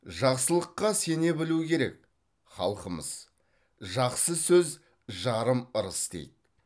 жақсылыққа сене білу керек халқымыз жақсы сөз жарым ырыс дейді